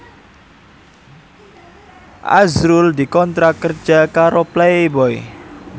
azrul dikontrak kerja karo Playboy